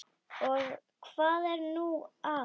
Og hvað er nú það?